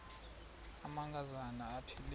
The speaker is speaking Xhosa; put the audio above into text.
amanka zana aphilele